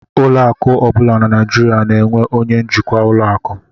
Ụlọ akụ ọ bụla na Naijiria na-enwe onye njikwa ụlọ akụ